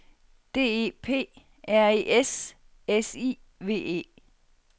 D E P R E S S I V E